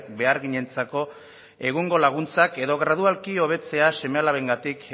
beharginentzako egungo laguntzak edo gradualki hobetzea seme alabengatik